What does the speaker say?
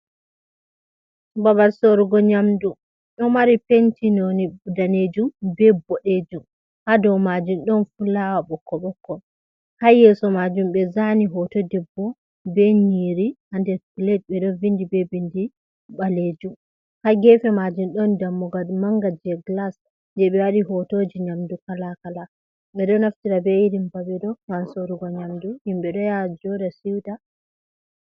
Babal sorugo nyamdu ɗo mari penti none danejum be boɗejum, ha dou majun ɗon fulawa bokkot ɓokko, ha yeso majum ɓe zani hoto debbo be nyiri ha nder tlade ɓe ɗon vindi be bindi ɓalejum, ha gefe majun ɗon dammugad manga je glas je ɓe waɗi hotoji nyamdu kala kala, ɓe ɗo naftira be irin babe ɗo ha sorugo nyamdu, himɓɓe ɗo ya joɗa siuta.